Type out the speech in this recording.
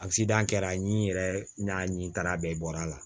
kɛra n yɛrɛ n n'a ɲe baara bɛɛ bɔra a la